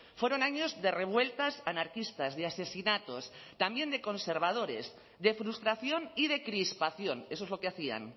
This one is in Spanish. fueron años de revueltas anarquistas de asesinatos también de conservadores de frustración y de crispación eso es lo que hacían